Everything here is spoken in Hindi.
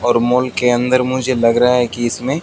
और मॉल के अंदर मुझे लग रहा है कि इसमें--